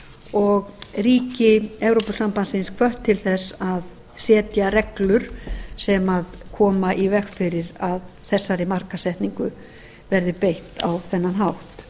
og ríki evrópusambandsins hvött til þess að setja reglur sem koma í veg fyrir að þessari markaðssetningu verði beitt á þennan hátt